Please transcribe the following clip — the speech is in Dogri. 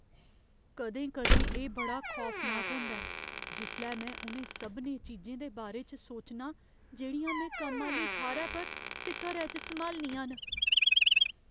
कदें कदें एह् बड़ा खौफनाक होंदा ऐ जिसलै में उ'नें सभनें चीजें दे बारे च सोचनां जेह्ड़ियां में कम्म आह्‌ली थाह्‌रै पर ते घरै च सम्हालनियां न।